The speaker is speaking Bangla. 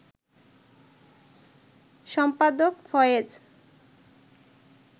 সম্পাদক ফয়েজ